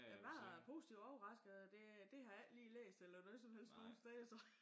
Jeg var øh positivt overrasket og det øh det har jeg ikke lige læst eller noget som helst nogen steder så